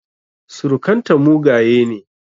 Surukan ta mugaye ne